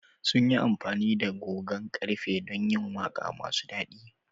Sun yi amfani da gogon ƙarfe don yin waƙa masu daɗi.